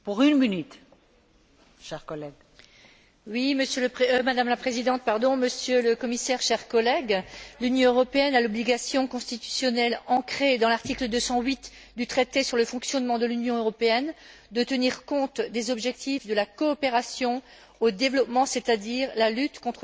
Madame la Présidente, Monsieur le Commissaire, chers collègues, l'Union européenne a l'obligation constitutionnelle, ancrée dans l'article 208 du traité sur le fonctionnement de l'Union européenne, de tenir compte des objectifs de la coopération au développement, c'est à dire la lutte contre la pauvreté, dans la mise en œuvre de sa politique européenne de voisinage.